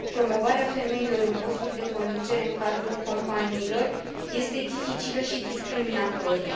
Promovarea femeilor în posturi de conducere în cadrul companiilor este dificilă și discriminatorie.